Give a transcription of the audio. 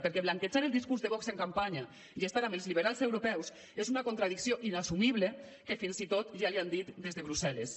perquè blanquejar el discurs de vox en campanya i estar amb els liberals europeus és una contradicció inassumible que fins i tot ja els ho han dit des de brussel·les